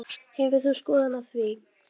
Hefur þú skoðun á því?